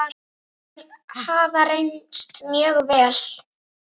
Þeir hafa reynst mjög vel.